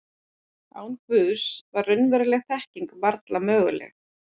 Án Guðs var raunveruleg þekking varla möguleg.